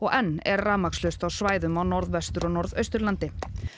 enn er rafmagnslaust á svæðum á Norðvestur og Norðausturlandi